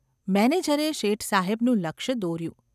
’ મેનેજરે શેઠસાહેબનું લક્ષ્ય દોર્યું.